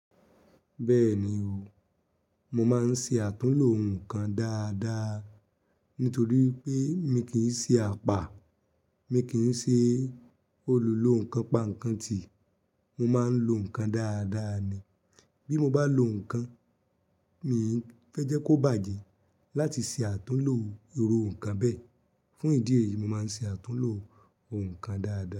Bẹ́ẹ̀ni o, mo máa ń ṣe àtúnlo nǹkan dáadáa nítorí wipé mi kì í ṣe apà, mi kì í ṣe olùlonkan-pá-nǹkan-tì, mo máa ń lo nǹkan dáadáa ni. Bí mo bá lo nǹkan, mi fẹ́ jẹ́ kó bàjẹ́ láti ṣe àtúnlo iru nǹkan bẹ́ẹ̀. Fún ìdí èyí, mo máa ń ṣe àtúnlo nǹkan dáadáa.